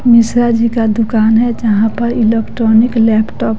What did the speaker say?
मिश्रा जी का दुकान है जहाँ पर इलेक्ट्रॉनिक लैपटॉप --